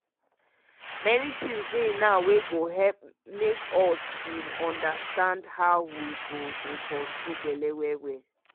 many things dey now wey go help make we bin understand how we go dey control belle well well.